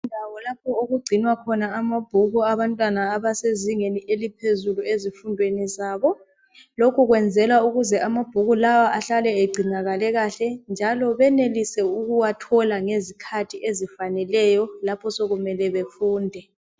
Yindawo lapho okugcinwa khona amabhuku abantwana abasezingeni eliphezulu ezifundweni zabo . Lokhu kwenzelwa ukuze amabhuku lawa ahlale egcinakale kahle njalo benelise ukuwathola ngezikhathi ezifaneleyo lapho sekumele bafunde.